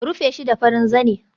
Rufe shi da farin zane